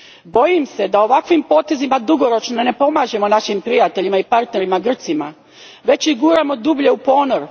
Bojim se da ovakvim potezima dugoročno ne pomažemo našim prijateljima i partnerima Grcima, već ih guramo dublje u ponor.